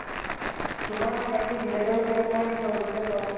তোমাৰ বাকী B Ed ৰ কেনেকুৱা হৈ গৈছে কোৱাচোন?